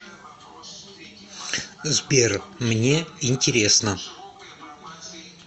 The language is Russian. сбер мне интересно